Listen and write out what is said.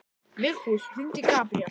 Vigfús, hringdu í Gabriel.